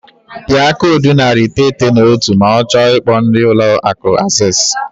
Pịa koodu narị iteghete na otu ma ọ chọọ ikpo ndị Ụlọ Akụ Access.